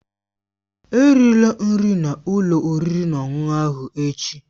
Erila nri n'ụlọ oriri na ọṅụṅụ ahụ echi!